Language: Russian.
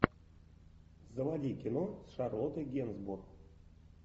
заводи кино с шарлоттой генсбур